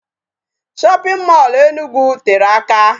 Shopping mall Enugu tere aka.